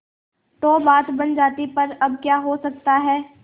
तो बात बन जाती पर अब क्या हो सकता है